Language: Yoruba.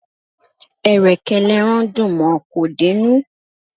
Ẹ̀rẹ̀kẹ́ l'ẹran dùn mọ; kò dé'nú.